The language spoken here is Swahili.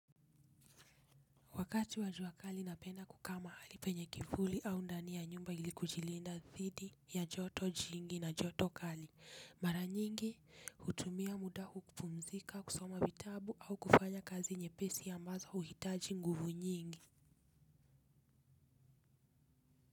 Wakati wa jua kali napenda kukaa mahali penye kivuli au ndani ya nyumba ili kujilinda dhidi ya joto jingi na joto kali. Mara nyingi hutumia muda hupumzika, kusoma vitabu au kufanya kazi nyepesi ambazo huhitaji nguvu nyingi.